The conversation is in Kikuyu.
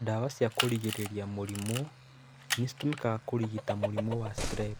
Ndawa cia kũrigĩrĩria mũrimũ nĩcitũmikaga kũrigita mũrimũ wa Strep.